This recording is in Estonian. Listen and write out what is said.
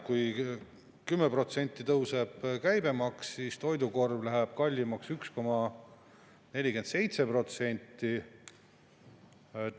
Kui 10% tõuseb käibemaks, siis toidukorv läheb kallimaks 1,47%.